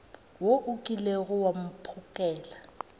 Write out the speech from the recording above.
wo o kilego wa mphokela